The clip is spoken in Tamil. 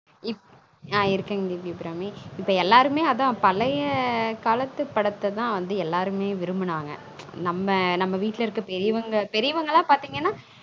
ஆன் இருக்கங்கற தேவி அபிராமி இப்ப எல்லாருமே அதான் பழய காலத்து படத்த தான் வந்து எல்லாருமே விரும்புனாங்க நம்ம நம்ம வீட்டுல இருக்குற பெரியவங்க பெரியவங்களான் பாத்தீங்கனா இப்